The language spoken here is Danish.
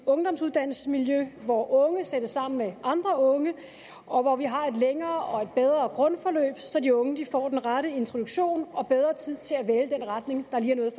ungdomsuddannelsesmiljø hvor unge sættes sammen med andre unge og hvor vi har et længere og bedre grundforløb så de unge får den rette introduktion og bedre tid til at vælge den retning der lige er